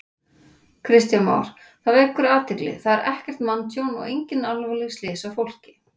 Kristján Már: Það vekur athygli, það er ekkert manntjón og engin alvarleg slys á fólki?